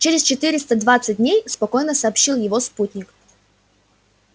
через четыреста двадцать дней спокойно сообщил его спутник